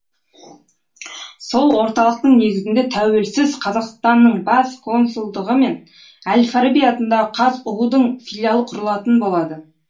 сол орталықтың негізінде тәуелсіз қазақстанның бас консулдығы мен әл фараби атындағы қазұу дың филиалы құрылатын болады